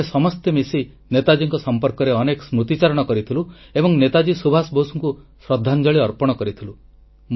ଆମେ ସମସ୍ତେ ମିଶି ନେତାଜୀଙ୍କ ସଂପର୍କରେ ଅନେକ ସ୍ମୃତି ଚାରଣ କରିଥିଲୁ ଏବଂ ନେତାଜୀ ସୁଭାଷ ବୋଷଙ୍କୁ ଶ୍ରଦ୍ଧାଞ୍ଜଳି ଅର୍ପଣ କରିଥିଲୁ